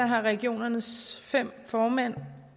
har regionernes fem formænd